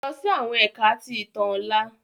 Lọ si awọn Ẹka ti Itan ọla!